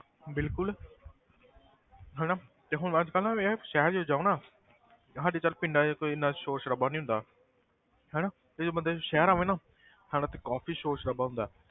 ਬਿਲਕੁਲ ਹਨਾ ਤੇ ਹੁਣ ਅੱਜ ਤਾਂ ਨਾ ਇਹ ਆ ਸ਼ਹਿਰ ਜਦੋਂ ਜਾਓ ਨਾ ਸਾਡੇ ਚੱਲ ਪਿੰਡਾਂ 'ਚ ਤਾਂ ਇੰਨਾ ਸੋਰ ਸਰਾਬਾ ਨੀ ਹੁੰਦਾ ਹਨਾ ਤੇ ਜਦੋਂ ਬੰਦਾ ਸ਼ਹਿਰ ਆਵੇ ਨਾ ਹਨਾ ਤੇ ਕਾਫ਼ੀ ਸੋਰ ਸਰਾਬਾ ਹੁੰਦਾ ਹੈ।